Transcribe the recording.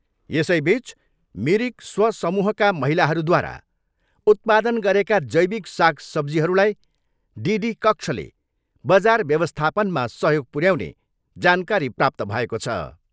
यसैबिच मिरिक स्वसमूहका महिलाहरूद्वारा उत्पादन गरेका जैविक साग सब्जीहरूलाई डि.डी कक्षले बजार व्यवस्थापानमा सहयोग पुर्याउने जानकारी प्राप्त भएको छ।